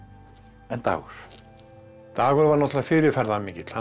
en Dagur dagur var náttúrulega fyrirferðarmikill hann